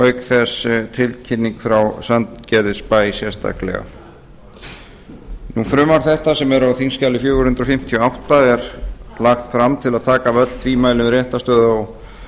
auk þess sem nefndinni barst tilkynning frá sandgerðisbæ frumvarp þetta sem er á þingskjali fjögur hundruð fimmtíu og átta er lagt fram til að taka af öll tvímæli um réttarstöðu á